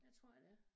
Det tror jeg det er